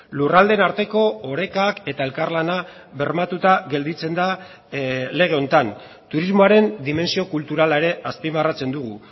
lurraldeen arteko orekak eta elkarlana bermatuta gelditzen da lege honetan turismoaren dimentsio kulturala ere azpimarratzen dugu